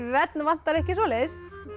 hvern vantar ekki svoleiðis